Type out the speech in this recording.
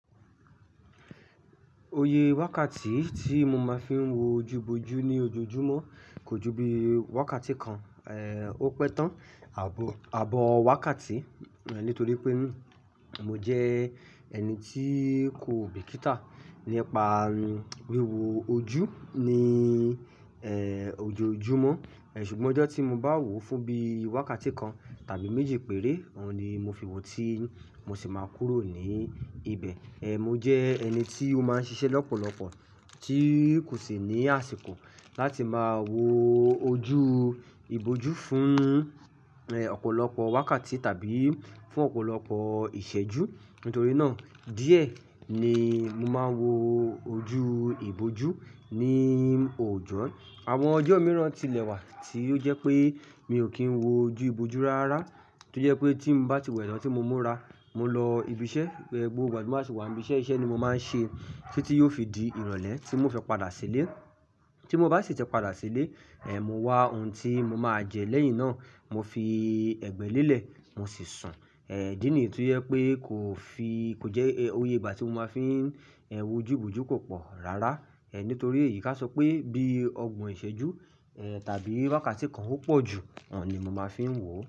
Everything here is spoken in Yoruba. Oyẹ wákàtí tí mo máa ń fi wo ojú bojú ní ojoojúmọ́ kò ju bí wákàtí kan, ó pẹ́ tán, àbò, abo wákàtí, nítorí pé mo jẹ́ ẹni tí kò bìkítà nípa wíwo ojú ní, ojoojúmọ́. Ṣùgbọ́n ọjọ́ tí mo bá wòó fún bí i wákàtí kan tàbí méjì péré, òun ni mo fi wo tí mo sì máa kúrò ní ibẹ̀. Mo jẹ́ ẹni tí ó máa ń ṣiṣẹ́ ni ọ́pọ̀lọpọ̀ tí kò sì ní àsìkò láti máa wo ojú ibojú fún, ọ̀pọ̀lọpọ̀ wákàtí tàbí fún ọ̀pọ̀lọpọ̀ ìṣẹ́jú. Nítorí náà díẹ̀ ni mo máa ń wo ojú ibojú ní òòjọ́. Àwọn ọjọ́ mìíràn tilẹ̀ wà tí ó jẹ́ pé mi ò kí ń wo ojú ibojú rárárá. Tí ó jẹ́ pé tí m bá ti wẹ̀ náà tí mo múra, mo lọ ibi iṣẹ́, gbogbo ìgbà tí m bá sì wà ń íbi iṣẹ́, iṣẹ́ ni mo máa ń ṣe títí ó fi di ìrọ̀lẹ́ tí mo fi padà sílé. Tí mo bá sì ti padà sílé, mo wá ohun tí mo máa jẹ lẹ́yìn náà, mo fi ẹgbẹ́ lélẹ̀, mo sì sùn. Ìdí nìyí ti ẹ́ pé kò fi, kò jẹ́ ó yè ìgbà tí mo máa ń fi, ẹ́, wo ojú ibojú kò pọ̀ rárá, nítorí èyí ká sọ pé bí ọgbọ̀n ìṣẹ́jú, tàbí wákàtí kan ó pọ̀ jù, òun ni mo máa ń fi wo.